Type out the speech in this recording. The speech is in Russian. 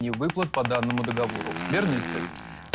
невыплат по данному договору верно истец